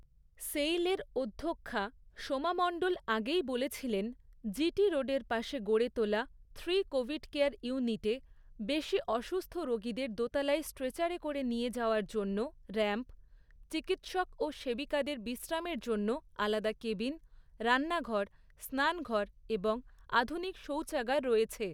সেইলের অধ্যক্ষা সোমা মণ্ডল আগেই বলেছিলেন, জি টি রোডের পাশে গড়ে তোলা থ্রি কোভিড কেয়ার ইউনিটে বেশি অসুস্থ রোগীদের দোতলায় স্ট্রেচারে করে নিয়ে যাওয়ার জন্য র‍্যাম্প, চিকিৎসক ও সেবিকাদের বিশ্রামের জন্য আলাদা কেবিন, রান্নাঘর, স্নানঘর এবং আধুনিক শৌচাগার রয়েছে।